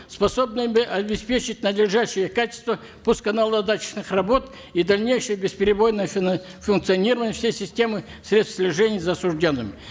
способными обеспечить надлежащее качество пуско наладочных работ и дальнейшее бесперебойное функционирование всей системы средств слежения за осужденными